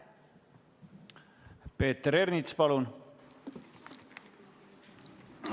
Peeter Ernits, palun!